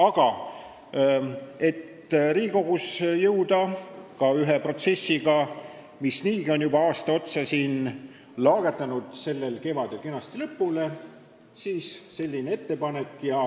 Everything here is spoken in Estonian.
Aga et Riigikogus jõuda ühe protsessiga, mis niigi on juba aasta otsa siin laagerdanud, sellel kevadel kenasti lõpule, on tehtud selline ettepanek.